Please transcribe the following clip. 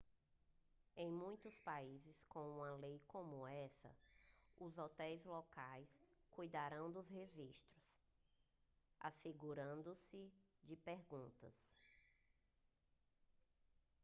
em muitos países com uma lei como essa os hotéis locais cuidarão do registro assegure-se de perguntar